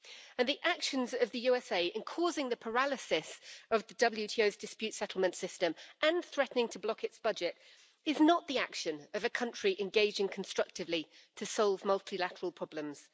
And the actions of the USA in causing the paralysis of the WTO's dispute settlement system and threatening to block its budget is not the action of a country engaging constructively to solve multilateral problems.